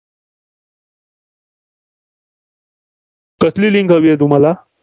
कसली link हवीये तुम्हाला?